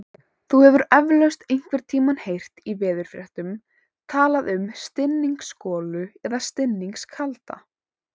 Þú hefur eflaust einhvern tímann heyrt í veðurfréttum talað um stinningsgolu eða stinningskalda.